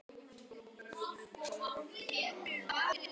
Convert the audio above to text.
Jón til sín.